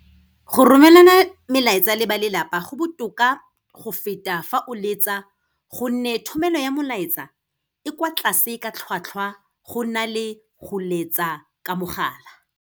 Go romelana melaetsa le ba lelapa, go botoka go feta fa o letsa gonne thomelo ya molaetsa e kwa tlase ka tlhwatlhwa go na le go letsa ka mogala.